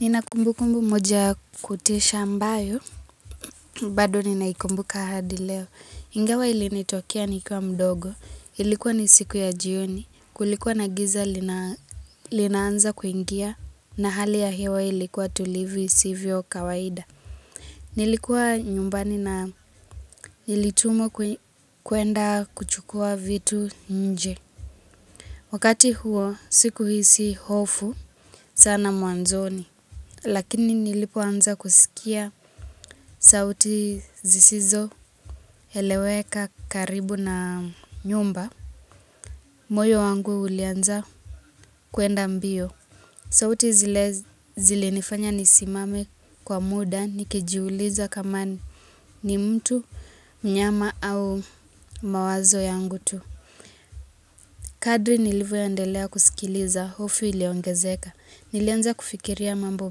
Nina kumbukumbu moja yakutisha ambayo, bado ninaikumbuka hadi leo. Ingawa ilinitokea nikiwa mdogo, ilikuwa ni siku ya jioni, kulikuwa na giza linaanza kuingia, na hali ya hewa ilikuwa tulivu isivyo kawaida. Nilikuwa nyumbani na nilitumwa kuenda kuchukua vitu nje. Wakati huo sikuhisi hofu sana mwanzoni lakini nilipo anza kuskia sauti zisizoeleweka karibu na nyumba moyo wangu ulianza kwenda mbio sauti zile nifanya nisimame kwa muda nikijiuliza kama ni mtu mnyama au mawazo yangu tu Kadri nilivyo endelea kuskiliza, hofu iliongezeka, nilianza kufikiria mambo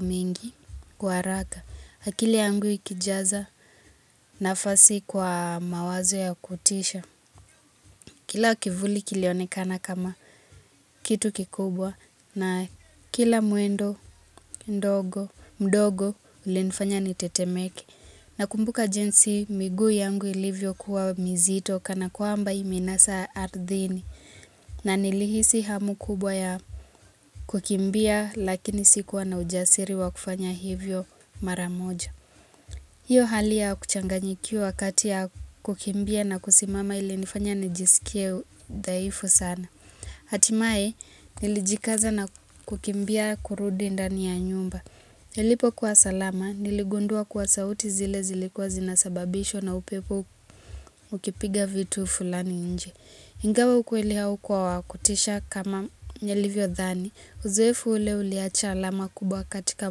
mingi, kwa haraka, akili yangu ikijaza nafasi kwa mawazo ya kutisha. Kila kivuli kilionekana kama kitu kikubwa na kila mwendo mdogo ulinifanya nitetemeke. Nakumbuka jinsi miguu yangu ilivyo kuwa mzito kana kwamba imenasa ardhini na nilihisi hamu kubwa ya kukimbia lakini sikuwa na ujasiri wa kufanya hivyo mara moja. Hiyo hali ya kuchanganyikiwa kati ya kukimbia na kusimama ilinifanya nijiskie dhaifu sana. Hatimae, nilijikaza na kukimbia kurudi ndani ya nyumba. Nilipo kuwa salama, niligundua kwa sauti zile zilikuwa zinasababishwa na upepo ukipiga vitu fulani nje. Ingawa ukweli haukuwa wakutisha kama nilivyo dhani. Uzoefu ule uliacha alama kubwa katika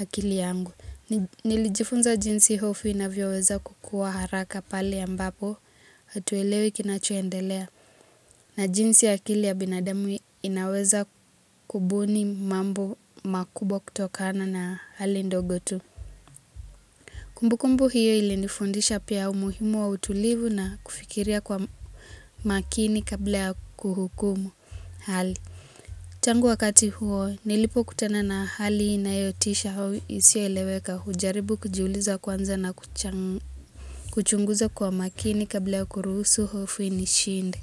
akili yangu. Nilijifunza jinsi hofu inavyoweza kukua haraka pale ambapo hatuelewi kinachoendelea. Na jinsi ya akili ya binadamu inaweza kubuni mambo makubwa kutokana na hali ndogo tu kumbukumbu hiyo ilindifundisha pia umuhimu wa utulivu na kufikiria kwa makini kabla ya kuhukumu hali tangu wakati huo nilipokutana na hali inayotisha au isioeleweka hujaribu kujiuliza kwanza na kuchangu kuchunguza kwa makini kabla ya kuruhusu hofu inishinde.